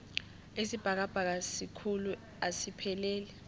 isibhakabhaka sikhulu asipheleli